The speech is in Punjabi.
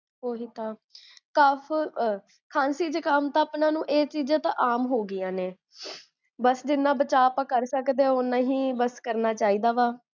ਓਹੀ ਤਾਂ, cuff ਖਾਂਸੀ ਜੁਖਾਮ ਤਾ ਓਨਾ ਨੂ ਇਹ ਚੀਜਾਂ ਤਾ ਆਮ ਹੋਗੀਆਂ ਨੇ, ਬੱਸ ਜਿੰਨਾ ਬਚਾ ਆਪਾ ਕਰ ਸਕਦੇ ਹੈਂ, ਓਨਾ ਹੀ ਬੱਸ ਕਰਨਾ ਚਾਹਿਦਾ ਵਾ